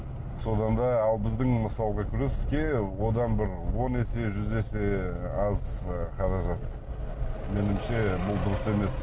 содан да ал біздің мысалға күреске одан бір он есе жүз есе аз қаражат меніңше бұл дұрыс емес